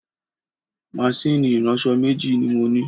Máṣíìnì ìránṣọ̀ méjì ni mo ní